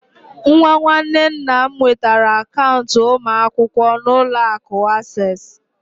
Nwa nwanne nna m nwetara akaụntụ ụmụ akwụkwọ na Ụlọ akụ Access